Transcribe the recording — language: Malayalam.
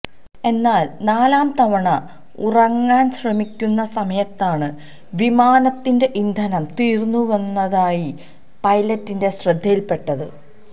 എന്നാല് നാലാം തവണ ഇറങ്ങാന് ശ്രമിക്കുന്ന സമയത്താണ് വിമാനത്തിന്റെ ഇന്ധനം തീര്ന്നുവരുന്നതായി പൈലറ്റിന്റെ ശ്രദ്ധയില്പ്പെട്ടത്